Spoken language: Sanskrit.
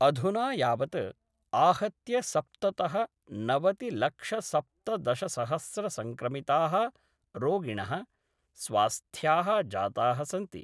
अधुना यावत् आहत्य सप्ततः नवतिलक्षसप्तदशसहस्र संक्रमिता: रोगिण: स्वास्थ्या: जाता: सन्ति।